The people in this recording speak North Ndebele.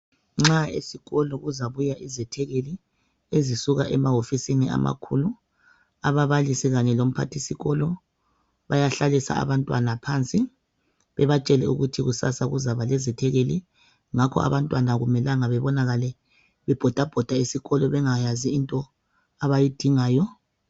Nxa esikolo kuzabuya izethekeli ezisuka emahofisini amakhulu .Ababalisi Kanye lomphathisikolo bayahlalisa abantwana phansi bebatshele ukuthi kusasa kuzaba lezethekeli .Ngakho abantwana akumelanga bebonakale bebhoda bhoda esikolo bengayazi into abayidingayo.